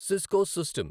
Cisco system